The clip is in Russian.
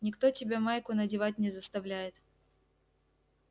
никто тебя майку надевать не заставляет